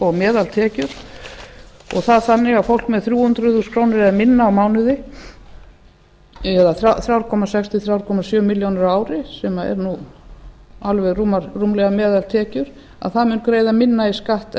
og meðaltekjur og það þannig að fólk með þrjú hundruð þúsund krónur eða minna á mánuði eða þrjú komma sex til þrjú komma sjö milljónir á ári sem eru nú alveg rúmlega meðaltekjur að það mun greiða minna í